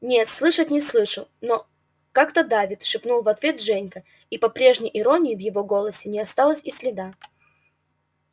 не слышать не слышу но как-то давит шепнул в ответ женька и по прежней иронии в его голосе не осталось и следа